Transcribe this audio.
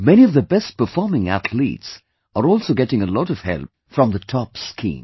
Many of the best performing Athletes are also getting a lot of help from the TOPS Scheme